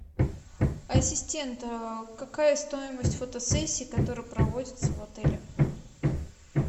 ассистент какая стоимость фотосессии которая проводится в отеле